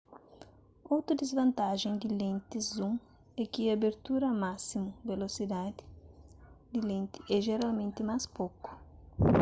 otu disvantajen di lentis zoom é ki abertura másimu velosidadi di lenti é jeralmenti más poku